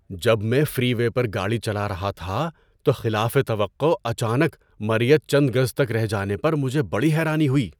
جب میں freeway پر گاڑی چلا رہا تھا تو خلافِ توقع اچانک مرئیت چند گز تک رہ جانے پر مجھے بڑی حیرانی ہوئی۔